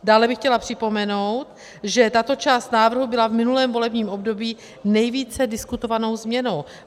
Dále bych chtěla připomenout, že tato část návrhu byla v minulém volebním období nejvíce diskutovanou změnou.